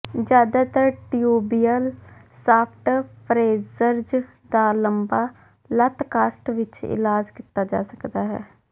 ਜ਼ਿਆਦਾਤਰ tibial shaft fractures ਦਾ ਲੰਬਾ ਲੱਤ ਕਾਸਟ ਵਿੱਚ ਇਲਾਜ ਕੀਤਾ ਜਾ ਸਕਦਾ ਹੈ